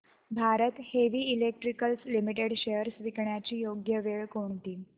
Bharat heavy electricals limited shares विकण्याची योग्य वेळ कोणती